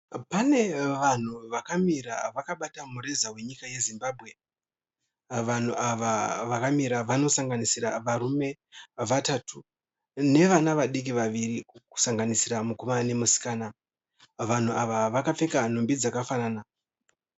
Pane vanhu vakamira vakabata mureza weZimbabwe. Vanhu ava vakamira vanoswnganisira varume vatatu nevana vadiki vaviri kusanganisira mukomana nemusikana. Vanhu ava vakapfeka nhumbi dzakafanana.